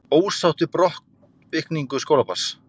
Ósátt við brottvikningu skólabarns